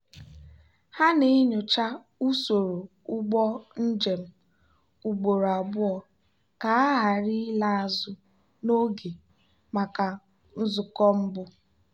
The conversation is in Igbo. ha na-enyocha usoro ụgbọ njem ugboro abụọ ka ha ghara ịla azụ n'oge maka nzukọ mbụ.